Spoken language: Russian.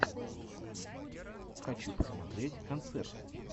хочу посмотреть концерты